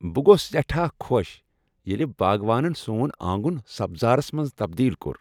بہٕ گووس سٮ۪ٹھاہ خۄش ییٚلہ باگوانن سون آنگُن سبزارس منٛز تبدیل کوٚر۔